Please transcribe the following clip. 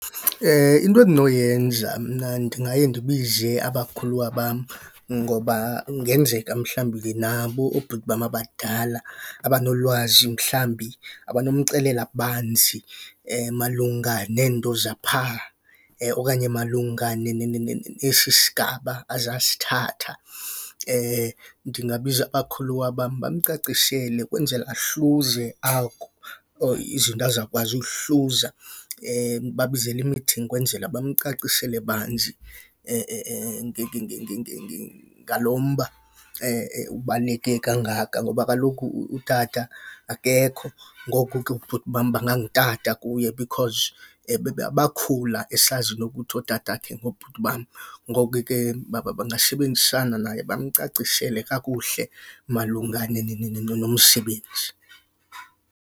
Into endinoyenza mna ndingaye ndibize abakhuluwa bam ngoba kungenzeka mhlawumbi ke nabo oobhuti bam abadala abanolwazi mhlawumbi abanomxelela banzi malunga neento zaphaa okanye malunga nesi sigaba azasithatha. Ndingabiza abakhuluwa bam bamcacisele kwenzela ahluze izinto azakwazi ukuzihluza. Ndibabizele ukwenzela bamcacisele banzi ngalo mba ubaluleke kangaka ngoba kaloku utata akekho, ngoku ke obhuti bam bangutata kuye because bakhula esazi nto yokuthi ootatakhe ngoobhuti bam. Ngoko ke bangasebenzisana naye bamcacisele kakuhle malunga nomsebenzi.